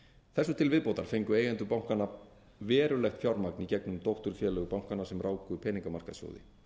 þessu til viðbótar fengu eigendur bankanna verulegt fjármagn í gegnum dótturfélög bankanna sem ráku peningamarkaðssjóði